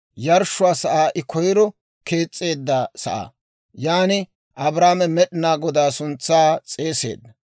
yarshshiyaa sa'aa I koyro kees's'eedda sa'aa. Yan Abraame Med'inaa Godaa suntsaa s'eeseedda.